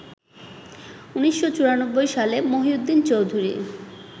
১৯৯৪ সালে মহিউদ্দিন চৌধুরী